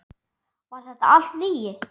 Var þetta allt lygi?